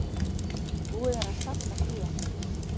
Búið er að safna fé.